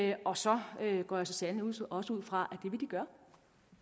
er og så går jeg så sandelig også også ud fra gøre